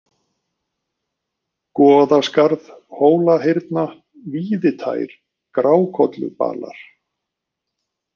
Goðaskarð, Hólahyrna, Víðitær, Grákollubalar